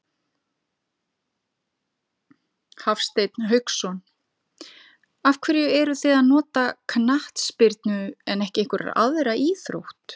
Hafsteinn Hauksson: Af hverju eruð þið að nota knattspyrnu en ekki einhverja aðra íþrótt?